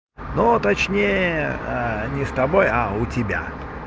ну а точнее не с тобой а у тебя